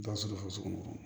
Ba sogo sugu dɔ